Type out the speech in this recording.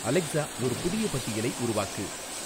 Alexa ஒரு புதிய பட்டியலை உருவாக்கு